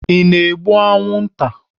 Ị na-egbu anwụnta?